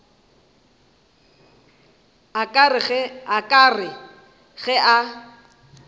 a ka re ge a